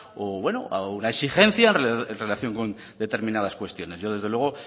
o bueno a una exigencia en relación con determinadas cuestiones yo desde luego